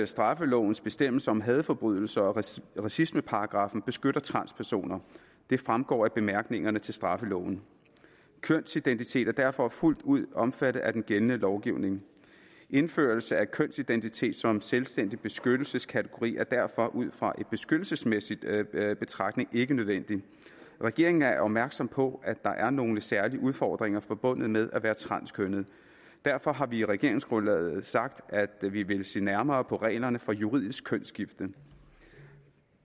straffelovens bestemmelser om hadforbrydelser og racismeparagraffen beskytter transpersoner det fremgår af bemærkningerne til straffeloven kønsidentitet er derfor fuldt ud omfattet af den gældende lovgivning indførelse af kønsidentitet som selvstændig beskyttelseskategori er derfor ud fra en beskyttelsesmæssig betragtning ikke nødvendigt regeringen er opmærksom på at der er nogle særlige udfordringer forbundet med at være transkønnet derfor har vi i regeringsgrundlaget sagt at vi vil se nærmere på reglerne for juridisk kønsskifte